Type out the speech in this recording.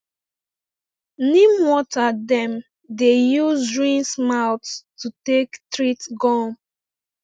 neem water dem dey use rinse mouth to take treat gum